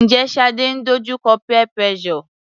Njẹ́ Shade ń dojú kọ peer pressure?